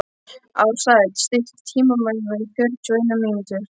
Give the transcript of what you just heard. Ársæll, stilltu tímamælinn á fjörutíu og eina mínútur.